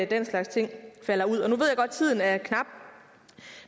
den slags ting falder ud at tiden er knap